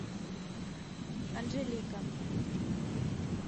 анжелика